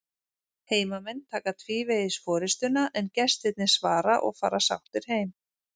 Heimamenn taka tvívegis forystuna en gestirnir svara og fara sáttir heim.